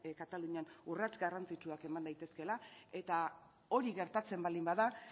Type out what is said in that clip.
katalunian urrats garrantzitsuak eman daitezkeela eta hori gertatzen baldin bada